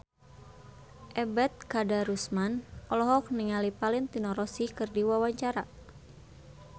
Ebet Kadarusman olohok ningali Valentino Rossi keur diwawancara